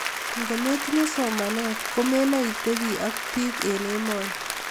Ngometinye somanet komenae itebi ago biik eng emoni